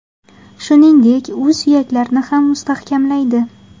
Shuningdek, u suyaklarni ham mustahkamlaydi.